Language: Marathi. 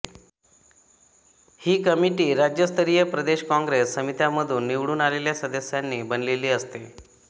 ही कमिटी राज्यस्तरीय प्रदेश काँग्रेस समित्यांमधून निवडून आलेल्या सदस्यांनी बनलेली असते